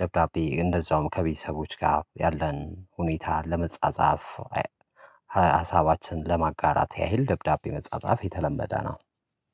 ደብዳቤ እንደዛውም ከቤተሰቦች ጋር ያለን ሁኔታ ለመጻጻፍ ሀሳባችንን ለማጋራት ያህል ደብዳቤ መጸጻፍ የተለመደ ነው።